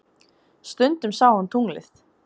Stundum sá hann tunglið.